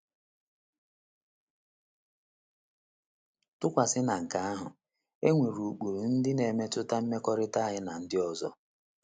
Tụkwasị na nke ahụ, e nwere ụkpụrụ ndị na - emetụta mmekọrịta anyị na ndị ọzọ.